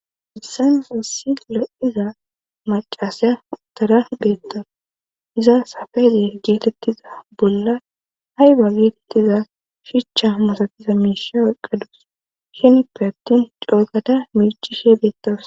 hayssan hayssi lo7iza macasiya utara beetawus;iza sape geetettiza bolla ayba getetiza shucha masatiza miisha oyqqa dawus; hinipe attin coo gada miicishe beettawus.